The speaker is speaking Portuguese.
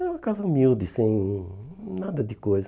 Era uma casa humilde, sem nada de coisa.